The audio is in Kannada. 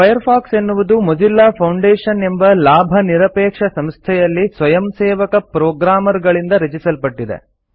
ಫೈರ್ಫಾಕ್ಸ್ ಎನ್ನುವುದು ಮೊಜಿಲ್ಲಾ ಫೌಂಡೇಶನ್ ಎಂಬ ಲಾಭ ನಿರಪೇಕ್ಷ ಸಂಸ್ಥೆಯಲ್ಲಿ ಸ್ವಯಂಸೇವಕ ಪ್ರೊಗ್ರಾಮರ್ ಗಳಿಂದ ರಚಿಸಲ್ಪಟ್ಟಿದೆ